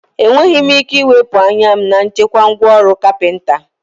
Enweghị m ike iwepụ anya m na nchekwa ngwá ọrụ carpenter